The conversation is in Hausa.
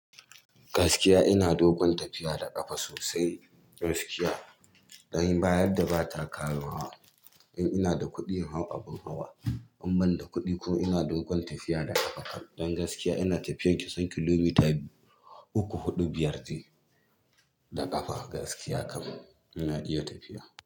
Gaskiya ina dogon tafiya da ƙafa sosai. Gaskiya, don bayadda ba ta kamawa. In ina da kuɗi, in hau abin hawa in bani da kuɗi ko ina dogon tafiya da ƙafa kan. Don gaskiya ina tafiyar kusan kilomita uku, huɗu, biyar de da ƙafa gaskiya kam ina iya tafiya.